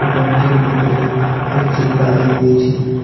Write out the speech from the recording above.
রুমটির ভিতরে একটি গাড়ি রয়েছে।